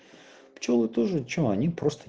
что вы тоже что они просто